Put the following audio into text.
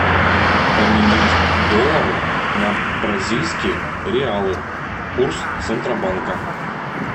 поменять доллары на бразильские реалы курс центробанка